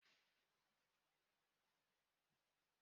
Ọtụtụ anwụnta dị ebe a.